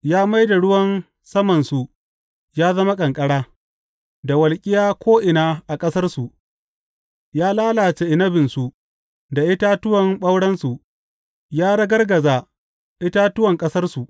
Ya mai da ruwan samansu ya zama ƙanƙara, da walƙiya ko’ina a ƙasarsu; ya lalace inabinsu da itatuwan ɓaurensu ya ragargaza itatuwan ƙasarsu.